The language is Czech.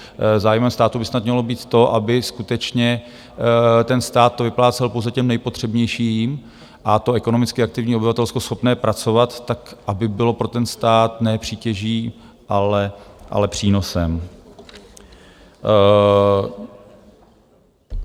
Zájmem státu by snad mělo být to, aby skutečně ten stát to vyplácel pouze těm nejpotřebnějším, a to ekonomicky aktivní obyvatelstvo schopné pracovat, tak aby bylo pro ten stát ne přítěží, ale přínosem.